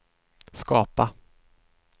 skapa